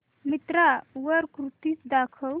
मिंत्रा वर कुर्तीझ दाखव